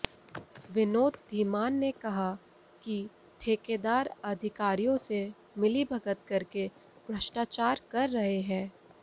विनोद धीमान ने कहा कि ठेकेदार अधिकारियों से मिलीभगत करके भ्रष्टाचार कर रहे हैं